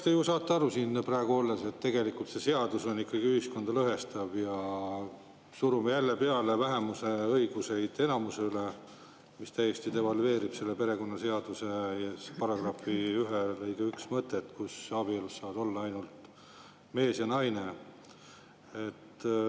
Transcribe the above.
Eks te ju saate aru siin praegu olles, et see seadus on ikkagi ühiskonda lõhestav ja surub jälle vähemuse õigusi enamusele peale, mis täiesti devalveerib perekonnaseaduse § 1 lõike 1 mõtet, abielus saavad olla ainult mees ja naine.